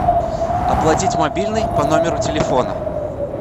оплатить мобильный по номеру телефона